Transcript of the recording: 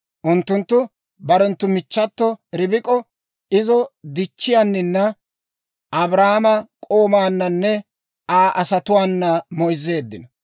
Unttunttu barenttu michchato Ribik'o, izo dichchiyaanina, Abrahaama k'oomaananne Aa asatuwaana moyzzeeddino.